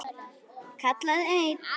kallaði einn.